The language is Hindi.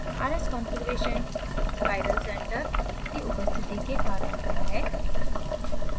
rs configurations chiral centre की उपस्थिति के कारण होता है